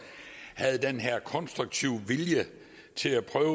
havde den her konstruktive vilje til at prøve